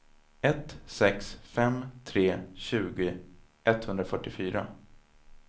ett sex fem tre tjugo etthundrafyrtiofyra